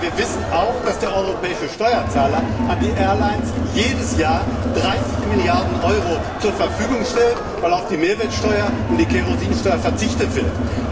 Aber wir wissen auch, dass der europäische Steuerzahler den Airlines jedes Jahr 30 Milliarden Euro zur Verfügung stellt, weil auf die Mehrwertsteuer und die Kerosinsteuer verzichtet wird.